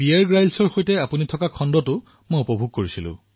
মহাশয় মই ১২ আগষ্টত বীয়েৰ গ্ৰীলছৰ সৈতে আপোনাৰ এটা খণ্ড উপভোগ কৰিছিলো